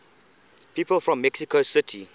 people from mexico city